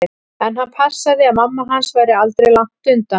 En hann passaði að mamma hans væri aldri langt undan.